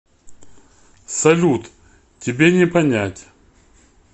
салют тебе не понять